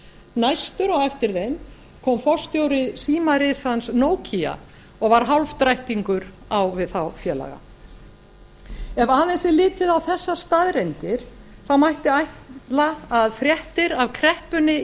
næstur á eftir þeim kom forstjóri símarisans nokia og var hálfdrættingur á við þá félaga ef aðeins er litið á þessar staðreyndir mætti ætla að fréttir af kreppunni í